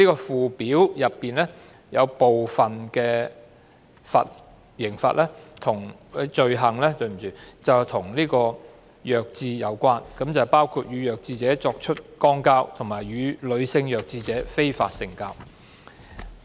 附表中部分罪行與弱智人士有關，包括與弱智者作出肛交及與女性弱智者非法性交。